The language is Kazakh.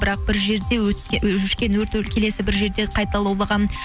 бірақ бір жерде келесі бір жерде қайта лаулаған